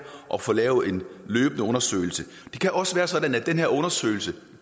og får lavet en løbende undersøgelse det kan også være sådan at de her undersøgelser